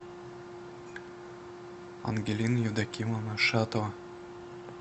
ангелина евдокимовна шатова